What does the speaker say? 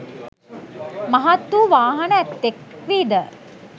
මහත් වූ වාහන ඇත්තෙක් වීද